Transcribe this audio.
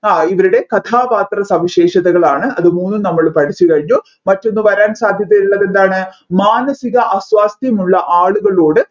ആ ഇവരുടെ കഥാപാത്രവും സവിശേഷതകളാണ് അത് മൂന്നും നമ്മൾ പഠിച്ചു കഴിഞ്ഞു മറ്റൊന്ന് വരാൻ സാധ്യതയുള്ളതെന്താണ് മാനസിക അസ്വാസ്ത്യമുള്ള ആളുകളോട്